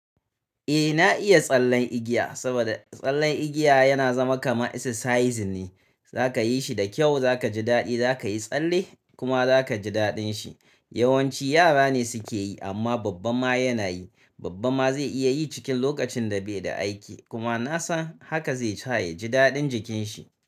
Eh na iya tsallen igiya, saboda tsallen igiya yana zama kamar exercise ne. Zaka yi shi da kyau, za ka ji daɗi, za ka yi tsalle kuma za ka ji daɗin shi. Yawanci yara ne sukeyi, amma babba ma yanayi babban ma zai iya yi cikin lokacin da be da aiki, kuma na san haka zai sa ya ji daɗin jikin shi.